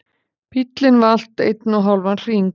Bíllinn valt einn og hálfan hring